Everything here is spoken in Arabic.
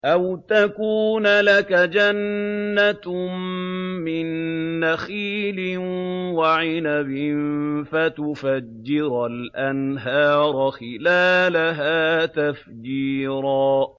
أَوْ تَكُونَ لَكَ جَنَّةٌ مِّن نَّخِيلٍ وَعِنَبٍ فَتُفَجِّرَ الْأَنْهَارَ خِلَالَهَا تَفْجِيرًا